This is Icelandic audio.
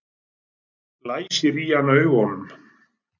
Læsir í hann augunum.